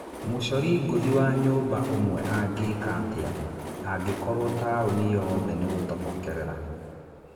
Mũcori ngũthi wa nyũmba ũmwe angĩka atĩa angĩkorwo taũni yothe nĩ gũtobokerera ?